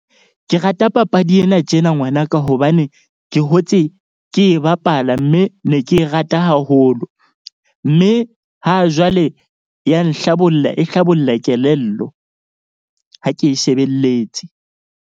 Ke rata papadi ena tjena ngwanaka. Hobane ke hotse ke e bapala. Mme ne ke e rata haholo. Mme ha jwale ya nhlabolla e hlabolla kelello. Ha ke e shebelletse.